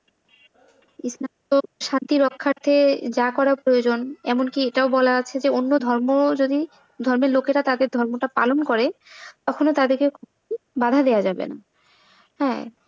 তো শান্তি রক্ষার্থে যা করা প্রয়োজন এমনকি এটাও বলা আছে যে অন্য ধর্মও যদি, ধর্মের লোকেরাও যদি তাদের ধর্মটা পালন করে তখনো তাদেরকে বাধা দেওয়া যাবে না।